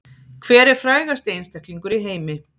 Hver er frægasti einstaklingur í heimi